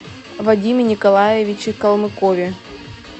вадиме николаевиче калмыкове